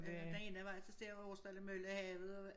Den ene vej så ser jeg over Aarsdale Mølle havet